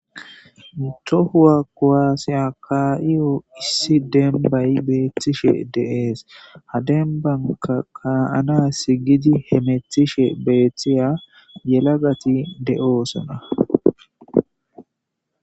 Tohuwa kowaasiya kaa'iyo issi dembay beethtishe deees hadenbanka kaa'ana si gidi hemethishe beeththiya yelagati de'oosona